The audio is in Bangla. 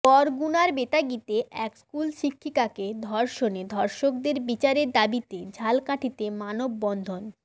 বরগুনার বেতাগীতে এক স্কুল শিক্ষিকাকে ধর্ষণে ধর্ষকদের বিচারের দাবিতে ঝালকাঠিতে মানববন্ধন